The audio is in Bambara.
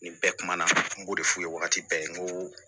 Nin bɛɛ kumana n b'o de f'u ye wagati bɛɛ n ko